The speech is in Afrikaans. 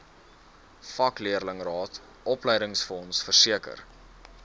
vakleerlingraad opleidingsfonds versekering